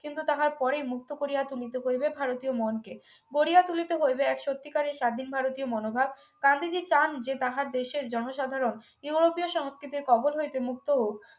কিন্তু তাহার পরে মুক্ত করিয়া তুলিতে করিবে ভারতীয় মনকে গরিয়া তুলিতে হইবে এক সত্যিকারের স্বাধীন ভারতীয় মনোভাব গান্ধীজী চান যে তাহার দেশের জনসাধারণ ইউরোপীয় সংস্কৃতির কবল হইতে মুক্ত হোক